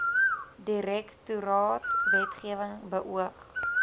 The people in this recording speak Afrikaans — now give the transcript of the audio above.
direktoraat wetgewing beoog